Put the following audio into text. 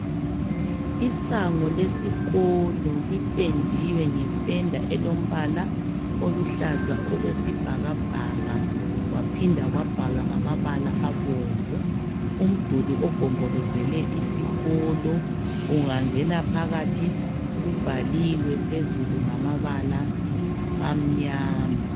Isango lesikolo lipendiwe ngependa elombala oluhlaza okwesibhakabhaka , kwaphinda kwabhalwa ngamabala abomvu , umduli ogombolozele isikolo ungangena phakathi kubhaliwe phezulu ngamabala amnyama.